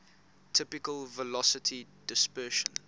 typical velocity dispersion